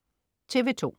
TV2: